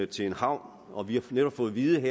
til en havn og vi har netop fået at vide